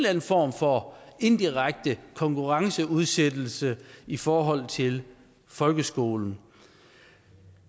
anden form for indirekte konkurrenceudsættelse i forhold til folkeskolen